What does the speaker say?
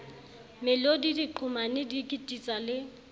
melodi diqhomane di kititsa le